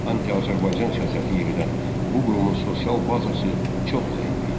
Antiazərbaycan siyasəti yeridən bu qurumun sosial bazası çox zəif idi.